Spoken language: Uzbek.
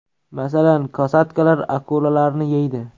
Masalan, kosatkalar akulalarni yeydi.